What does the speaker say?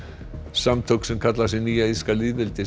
samtök sem kalla sig Nýja írska